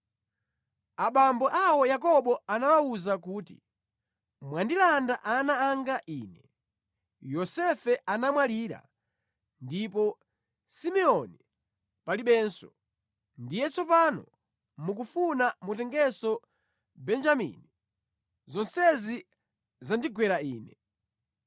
Abambo awo Yakobo anawawuza kuti, “Mwandilanda ana anga ine. Yosefe anamwalira ndipo Simeoni palibenso, ndiye tsopano mukufuna mutengenso Benjamini. Zonsezi zandigwera ine!”